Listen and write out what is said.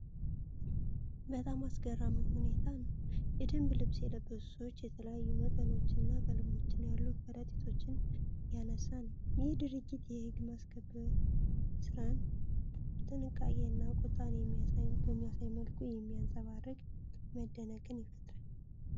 በጣም አስገራሚ ሁኔታን ነው። የደንብ ልብስ የለበሱ ሰዎች የተለያዩ መጠኖችና ቀለሞች ያሉ ከረጢቶችን እያነሳ ነው። ይህ ድርጊት የሕግ ማስከበር ሥራን ጥንቃቄና ቁጣን በሚያሳይ መልኩ የሚያንጸባርቅ መደነቅን ይፈጥራል።